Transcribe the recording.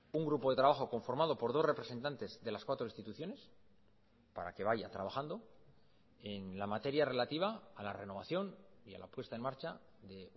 un grupo de trabajo conformado por dos representantes de las cuatro instituciones para que vaya trabajando en la materia relativa a la renovación y a la puesta en marcha de